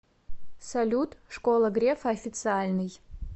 салют школа грефа официальный